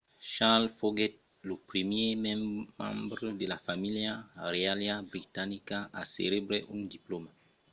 charles foguèt lo primièr membre de la familha reiala britanica a recebre un diplòma